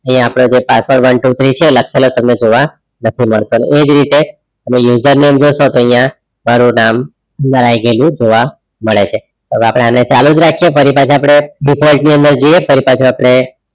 અહિયાં આપણે જે password one two three છે તમે ઑવ નથી માડતો અને એજ રીતે user name જોશો તો અહીંયા મારુ નામ જોવા મળે છે હવે આપણે આને ચાલુજ રાખીયે ફરી પાછા આપડે default ની અંદર જૈયે ફરકી પાછા આપડે